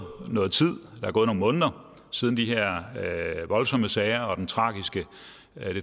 noget tid er gået nogle måneder siden de her voldsomme sager og den tragiske